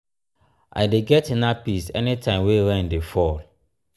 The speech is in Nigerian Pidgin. i dey get inner peace anytime wey rain dey fall.